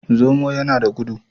Zomo yana da gudu.